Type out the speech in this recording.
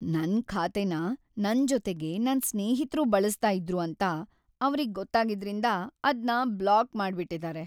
ನನ್‌ ಖಾತೆನ ನನ್‌ ಜೊತೆಗೆ ನನ್ ಸ್ನೇಹಿತ್ರೂ ಬಳಸ್ತಾ ಇದ್ರು ಅಂತ ಅವ್ರಿಗ್ ಗೊತ್ತಾಗಿದ್ರಿಂದ ಅದ್ನ ಬ್ಲಾಕ್‌ ಮಾಡ್ಬಿಟಿದಾರೆ.